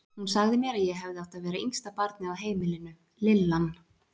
Hún sagði mér að ég hefði átt að verða yngsta barnið á heimilinu, lillan.